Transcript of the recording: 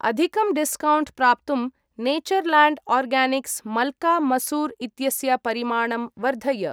अधिकं डिस्कौण्ट् प्राप्तुं Natureland Organics मल्का मसूर् इत्यस्य परिमाणं वर्धय।